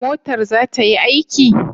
Motar za ta yi aiki?